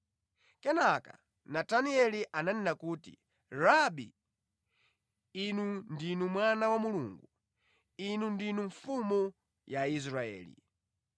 Kenaka Natanieli ananena kuti, “Rabi, Inu ndinu Mwana wa Mulungu; Inu ndinu Mfumu ya Israeli.”